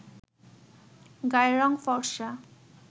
গায়ের রং ফরসা